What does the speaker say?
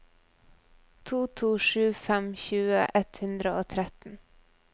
to to sju fem tjue ett hundre og tretten